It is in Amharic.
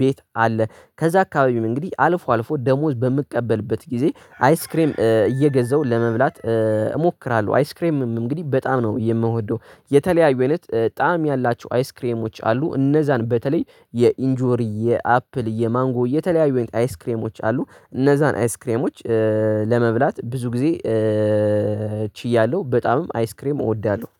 ቤት አለ ከዛ አካባቢም እንግዲህ አልፎ አልፎ ደሞዝ በምቀበልበት ጊዜ አይስክሬም እየገዛው ለመብላት። እሞክራለሁ አይስክሬምም እንግዲህ በጣም ነው የምወደው። የተለያዩ አይነት ጣዕም ያላቸው አይስክሬሞች አሉ እነዛን በተለይ የኢንጆሪ የአፕል የማንጎ የተለያዩ አይነት አይስክሬሞች አሉ እነዛን አይስ ክሬሞች። ለመብላት ብዙ ጊዜ። ችያለሁ በጣምም አይስክሬም እወዳለሁ።